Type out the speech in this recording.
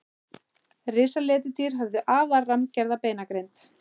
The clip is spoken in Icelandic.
Risaletidýr höfðu afar rammgerða beinagrind.